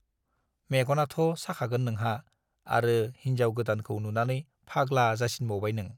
मेगनाथ' साखागोन नोंहा, आरो हिन्जाव गोदानखौ नुनानै फाग्ला जासिनबावबाय नों?